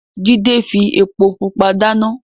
Jide fi epo pupa dana.